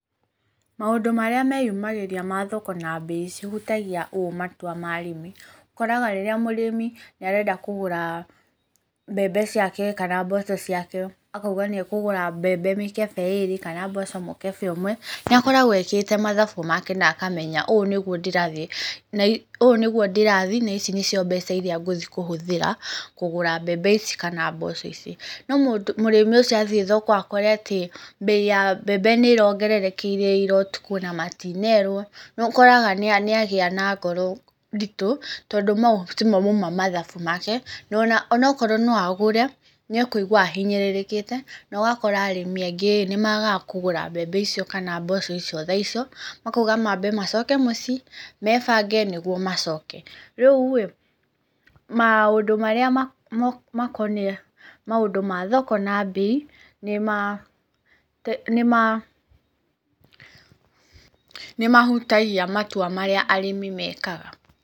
Maũndũ marĩa meyumagĩrĩa ma thoko na mbei cihutagia ũũ matua ma arĩmi, ũkoraga rĩrĩa mũrĩmi nĩarenda kũgũra mbembe ciake kana mboco ciake, akauga nĩekũgũra mbembe mĩkebe ĩrĩ kana mboco mũkebe ũmwe, nĩakoragwo ekĩte mathabu make na akamenya ũũ nĩguo ndĩrathiĩ na ici nĩcio mbeca irĩa ngũthii kũhũthĩra kũgũra mbembe ici kana mboco ici. No mũrĩmi ũcio athiĩ thoko akore atĩ mbei ya mbembe nĩirongererekeire ira ũtukũ na matinerwo, nĩũkoraga nĩagĩa na ngoro nditũ, tondũ mau timo mauma mathabu make, na onakorwo no agũre nĩekũigua ahinyĩrĩrĩkĩte na ũgakora arĩmi angĩ nĩmagaga kũgũra mbembe icio kana mboco icio thaa icio makauga mambe macoke mũcii mebange nĩguo macoke. Rĩu-ĩ, maũndũ marĩa makoniĩ maũndũ ma thoko na mbei nĩma nĩma nĩmahutagia matua marĩa arĩmi mekaga.